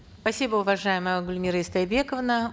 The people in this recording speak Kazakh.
спасибо уважаемая гульмира истайбековна